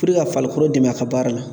Puruke ka farikolo dɛmɛ a ka baara la